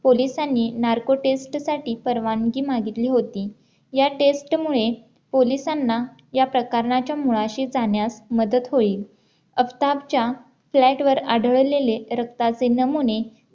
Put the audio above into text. पोलिसांनी narco test साठी परवानगी मागितली होती या test मुळे पोलिसांना या प्रकरणाच्या मुळाशी जाण्यास मदत होईल आफताबच्या फ्लॅटवर आढळलेले रक्ताचे नमुने